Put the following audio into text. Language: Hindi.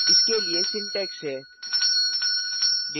इसके लिये syntax है